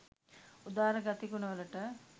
උදාර ගති ගුණ වලට